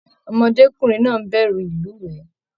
Ọmọdékunrin náà n bẹrù ilúwẹ.